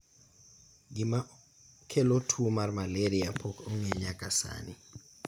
gima kelo tuo mar maleria pok ong'e nyaka sani